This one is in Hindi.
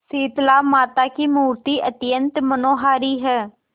शीतलामाता की मूर्ति अत्यंत मनोहारी है